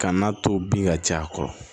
Ka n'a to bin ka caya a kɔrɔ